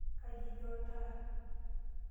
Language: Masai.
Kaji etii oltaa?